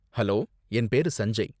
hello, என் பேரு சஞ்சய்